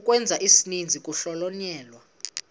ukwenza isininzi kuhlonyelwa